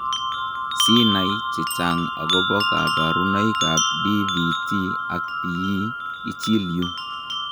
Sinai chechang' akobo kabarunoikab DVT ak PE, ichil yu.